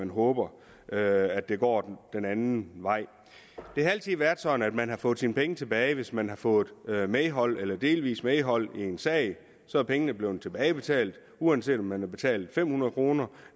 håber at at det går den anden vej det har altid været sådan at man får sine penge tilbage hvis man har fået medhold eller delvis medhold i en sag så er pengene blevet tilbagebetalt uanset om man har betalt fem hundrede kroner